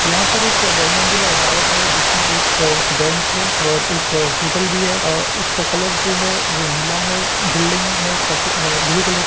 यहाँ पर एक बहु मंजिला इमारत है जिसमें एक बैंक है और एक होटल भी है आ-उसका कलर जो है वो नीला है बिल्डिंग में सफे ब्लू कलर की--